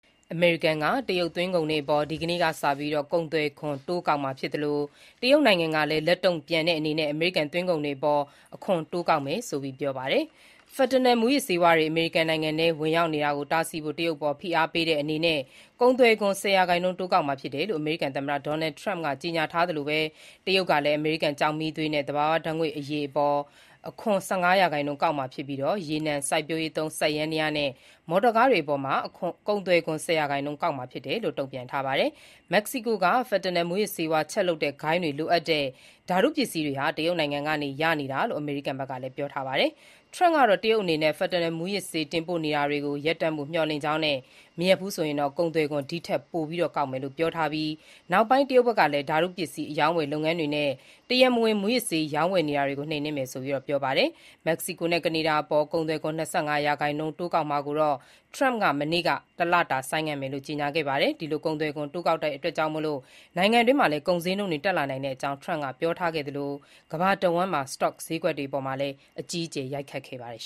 အမေရိကန်က တရုတ်သွင်းကုန်တွေအပေါ် ဒီကနေ့ အင်္ဂါနေ့ကစပြီး ကုန်သွယ်ခွန်တိုးကောက်မှာ ဖြစ်သလို တရုတ်နိုင်ငံကလည်း အမေရိကန်သွင်းကုန်တွေအပေါ် အခွန်တိုးကောက်မယ်ဆိုပြီး ပြောပါတယ်။ Fentanyl မူးယစ်ဆေး အမေရိကန်ထဲဝင်ရောက်နေတာကိုတားဆီးဖို့ တရုတ် အပေါ် ဖိအားပေးတဲ့အနေနဲ့ ကုန်သွယ်ခွန် ၁၀ ရာခိုင်နှုန်း တိုးကောက်မှာဖြစ်တယ်လို့ အမေရိကန် သမ္မတဒေါ်နယ်ထရမ့်ကကြေညာထားသလို တရုတ်ကလည်း အမေရိကန်ကျောက်မီးသွေးနဲ့ သဘာဝ ဓါတ်ငွေ့အရည်အပေါ် အခွန် ၁၅ ရာခိုင်နှုန်းကောက်မှာဖြစ်ပြီး ရေနံ၊ စိုက်ပျိုးရေးသုံး စက်ယန္တရားနဲ့ မော်တော်ကားတွေအပေါ် ကုန်သွယ်ခွန် ၁၀ ရာခိုင်နှုန်းကောက်မှာ ဖြစ်တယ်လို့ တုံ့ပြန်ပါတယ်။ မက္ကစီကိုက Fentanyl မူးယစ်ဆေးဝါးချက်လုပ်တဲ့ဂိုဏ်းတွေကလိုအပ်တဲ့ ဓါတု ပစ္စည်းတွေ တရုတ်နိုင်ငံကနေရနေတာလို့ အမေရိကန်က ပြောဆိုထားတာပါ။ တရုတ်အနေနဲ့ Fentanyl မူးယစ်ဆေး တင်ပို့နေတာတွေကို ရပ်ဖို့ မျှော်လင့်ကြောင်းနဲ့ မရပ်ဘူးဆိုရင်တော့ ကုန်သွယ်ခွန် ဒီထက်ပိုကောက်မယ်လို့ ထရမ့်က ပြောထားပြီးနောက် တရုတ်ကလည်း ဓါတုပစ္စည်း အရောင်းအဝယ်လုပ်ငန်းတွေနဲ့ တရားမဝင် မူးယစ်ဆေး ရောင်းဝယ်နေတာတွေကို နှိမ်နင်းမယ်ဆိုပြီး ပြောဆိုပါတယ်။ မက္ကစီကိုနဲ့ ကနေဒါအပေါ် ၂၅ ရာခိုင်နှုန်း ကုန်သွယ်ခွန်တိုးကောက်ထားတာကိုလည်း ထရမ့်က မနေ့က တလတာ ဆိုင်းငံ့မယ်ဆိုပြီး ပြန်ပြောင်း ကြေညာပါတယ်။ ဒီလိုကုန်သွယ်ခွန်တိုးကောက်တာကြောင့် နိုင်ငံတွင်း ကုန်စျေးနှုန်းတွေတက်လာနိုင်ကြောင်း ထရမ့်က ပြောကြားထားခဲ့သလို ကမ္ဘာတဝှမ်း စတော့စျေးကွက်အပေါ်လည်း အကြီးအကျယ် ရိုက်ခတ်ခဲ့ပါတယ်